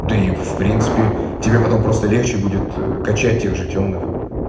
да и в принципе тебе потом просто легче будет качать тех же тёмных